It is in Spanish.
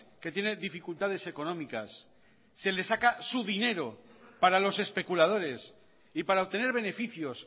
que tiene dificultades económicas se le saca su dinero para los especuladores y para obtener beneficios